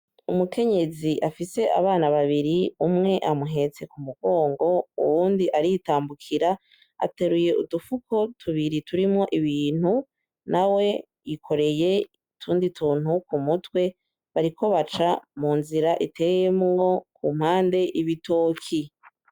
Umukenyezi afise abana babiri umwe amuhetse ku mugongo, uwundi aritambukira ateruye udupfuko tubiri turimwo ibintu, na we ikoreye itundi tuntu ku mutwe, bariko baca mu nzira iteyemuwo ku mpande 'ibitoki.